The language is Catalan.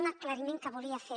un aclariment que volia fer